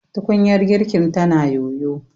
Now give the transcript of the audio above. tukunyar girkin tana yoyo